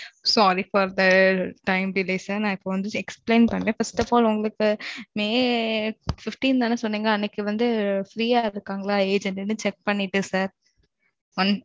Sorry for the time delay sir நான் இப்போ வந்து explain பண்றேன். first of all உங்களுக்கு, may fifteen தான சொன்னீங்க? அன்னைக்கு வந்து, free ஆ இருக்காங்களா? agent ன்னு, check பண்ணிட்டு, sir